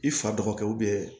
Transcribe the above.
I fa dɔgɔkɛ